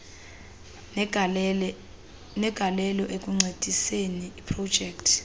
negalelo ekuncediseni iprojekthi